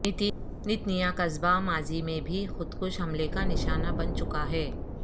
Netanya قصبہ ماضی میں بھی خود کش حملے کا نشانہ بن چکا ہے